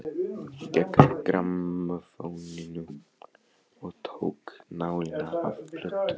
Gekk að grammófóninum og tók nálina af plötunni.